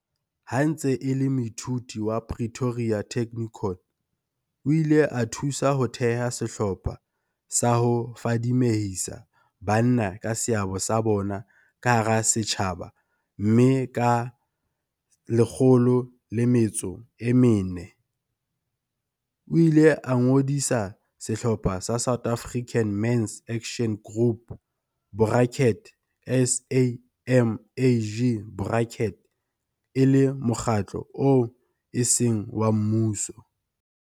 Ha e ntse e le moithuti wa Pretoria Technikon, o ile a thusa ho theha sehlopha sa ho fadimehisa banna ka seabo sa bona ka hara setjhaba mme ka 2004, o ile a ngodisa sehlopha sa South African Men's Action Group, borakete SAMAG borakete, e le mokgatlo oo eseng wa mmuso.